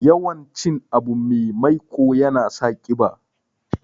Yawan cin abu me maiƙo yana sa ƙiba.